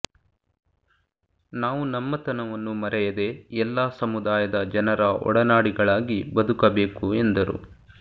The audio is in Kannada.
ನಾವು ನಮ್ಮತನವನ್ನು ಮರೆಯದೇ ಎಲ್ಲಾ ಸಮುದಾಯದ ಜನರ ಒಡನಾಡಿಗಳಾಗಿ ಬದುಕಬೇಕು ಎಂದರು